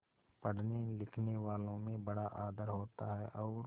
पढ़नेलिखनेवालों में बड़ा आदर होता है और